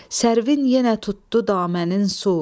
Sərvin yenə tutdu damənin su,